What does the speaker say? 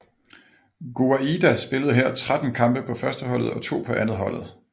Gouaida spillede her 13 kampe på førsteholdet og to på andetholdet